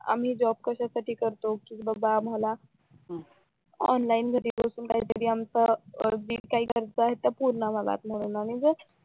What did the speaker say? आम्ही जॉब कश्यासाठी करतो कि बाबा आम्हाला ऑनलाईन घरी बसून काहीतरी आमचा अर्जित करत येत म्हणून आम्हाला